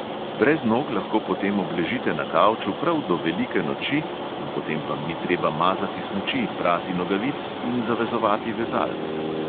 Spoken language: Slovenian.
"Brez nog lahko potem obležite na kavču prav do velike noči in potem vam ni treba mazati smuči, prati nogavic in zavezovati vezalk."